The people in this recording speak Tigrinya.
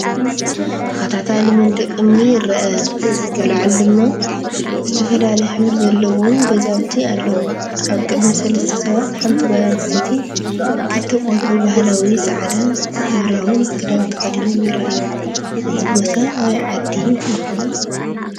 ተኸታታሊ መድንቕ እምኒ ይርአ። ኣብ ላዕሊ ድማ ዝተፈላለየ ሕብሪ ዘለዎም ገዛውቲ ኣለዉ። ኣብ ቅድሚት ሰለስተ ሰባት፡ ሓንቲ ጓል ኣንስተይቲ ክልተ ቆልዑ ፡ ባህላዊ ጻዕዳን ሕብራዊን ክዳን ተኸዲኖም ይረኣዩ። እዚ ቦታ ኣበይ ዓዲ ይኾን?